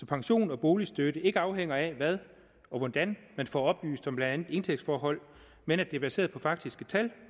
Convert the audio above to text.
pension og boligstøtte ikke afhænger af hvad og hvordan man får oplyst om blandt andet indtægtsforhold men at det er baseret på faktiske tal